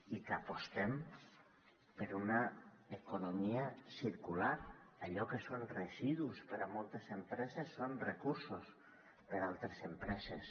i que apostem per una economia circular allò que són residus per a moltes empreses són recursos per a altres empreses